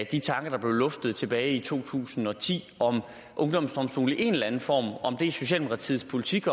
de tanker der blev luftet tilbage i to tusind og ti om ungdomsdomstole i en eller anden form og om det er socialdemokratiets politik